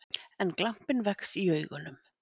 En glampinn vex í augunum.